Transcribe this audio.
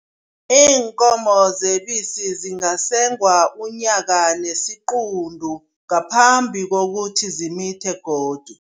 Iinkomo zebisi zingasengwa unyaka nesiquntu ngaphambi kokuthi zimithe godu.